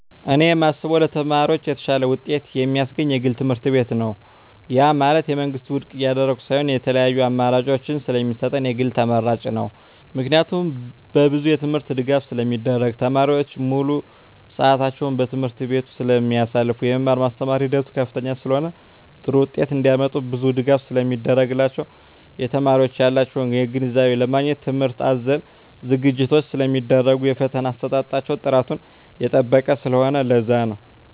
እኔ የማስበው ለተማሪዎች የተሻለ ውጤት የማስገኝ የግል ትምህርትቤት ነው ያ ማለት የመንግስትን ውድቅ እያደረኩ ሳይሆን የተለያዪ አማራጭ ስለሚሰጠን የግል ተመራጭ ነው። ምክንያቱም በብዙ የትምህርት ድጋፍ ስለሚደረግ , ተማሪዎች ሙሉ ስዕታቸውን በትምህርት ቤቱ ስለማሳልፋ , የመማር ማስተማር ሂደቱ ከፍተኛ ስለሆነ ጥሩ ውጤት እንዳመጡ ብዙ ድጋፍ ስለሚደረግላቸው , የተማሪዎች ያላቸውን ግንዛቤ ለማግኘት ትምህርት አዘል ዝግጅቶች ስለሚደረጉ የፈተና አሰጣጣቸው ጥራቱን የጠበቀ ስለሆነ ለዛ ነው